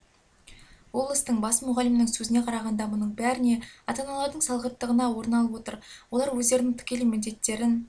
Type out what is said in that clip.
облыстың бас мұғалімінің сөзіне қарағанда мұның бәріне ата-аналардың салғырттығына орын алып отыр олар өздерінің тікелей міндеттерін